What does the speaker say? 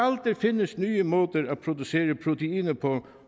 der findes nye måder at producere proteiner på